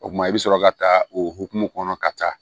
O kumana i bɛ sɔrɔ ka taa o hokumu kɔnɔ ka taa